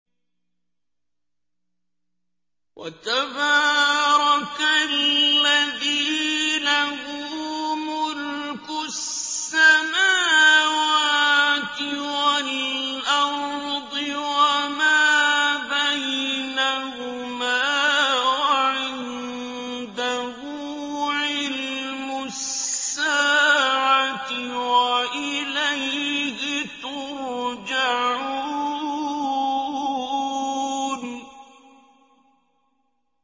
وَتَبَارَكَ الَّذِي لَهُ مُلْكُ السَّمَاوَاتِ وَالْأَرْضِ وَمَا بَيْنَهُمَا وَعِندَهُ عِلْمُ السَّاعَةِ وَإِلَيْهِ تُرْجَعُونَ